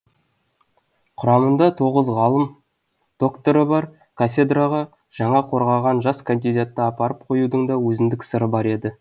құрамында тоғыз ғылым докторы бар кафедраға жаңа қорғаған жас кандидатты апарып қоюдың да өзіндік сыры бар еді